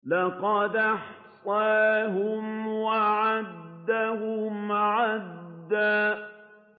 لَّقَدْ أَحْصَاهُمْ وَعَدَّهُمْ عَدًّا